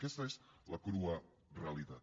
aquesta és la crua realitat